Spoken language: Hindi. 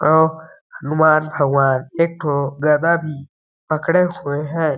अउ हनुमान भगवान एक ठो गधा भी पकड़े हुए हैं ।